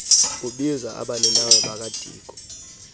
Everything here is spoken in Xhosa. ubiza abaninawa bakadiko